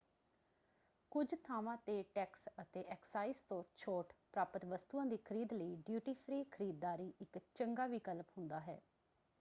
ਕੁੱਝ ਥਾਵਾਂ ‘ਤੇ ਟੈਕਸ ਅਤੇ ਐਕਸਾਈਜ਼ ਤੋਂ ਛੋਟ ਪ੍ਰਾਪਤ ਵਸਤੂਆਂ ਦੀ ਖਰੀਦ ਲਈ ਡਿਊਟੀ ਫ੍ਰੀ ਖਰੀਦਦਾਰੀ ਇੱਕ ਚੰਗਾ ਵਿਕਲਪ ਹੁੰਦਾ ਹੈ।